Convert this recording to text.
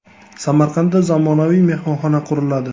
Samarqandda zamonaviy mehmonxona quriladi.